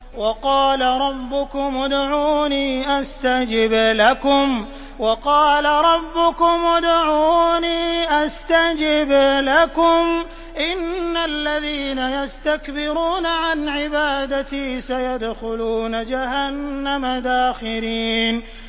وَقَالَ رَبُّكُمُ ادْعُونِي أَسْتَجِبْ لَكُمْ ۚ إِنَّ الَّذِينَ يَسْتَكْبِرُونَ عَنْ عِبَادَتِي سَيَدْخُلُونَ جَهَنَّمَ دَاخِرِينَ